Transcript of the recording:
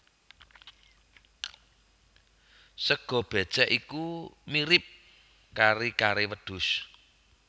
Sega bécèk iku mirip kari kare wedhus